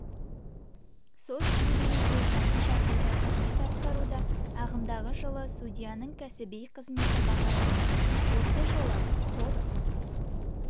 сот жюриі де жаңа жағдайда қызмет атқаруда ағымдағы жылы судьяның кәсіби қызметі бағаланды осы жылы сот